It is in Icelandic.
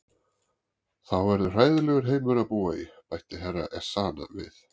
Þá verður hræðilegur heimur að búa í, bætti Herra Ezana við.